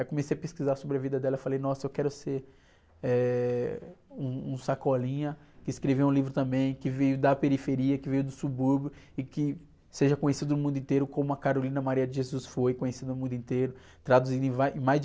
Aí comecei a pesquisar sobre a vida dela, falei, nossa, eu quero ser, eh, um, um Sacolinha, que escreveu um livro também, que veio da periferia, que veio do subúrbio, e que seja conhecido no mundo inteiro, como a Carolina Maria de Jesus foi conhecida no mundo inteiro, traduzindo em vá, mais de...